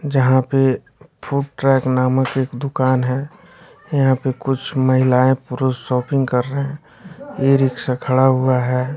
जहां पे food track नामक एक दुकान है यहां पे कुछ महिलाएं पुरुष शॉपिंग कर रहे हैं ई रिक्शा खड़ा हुआ है।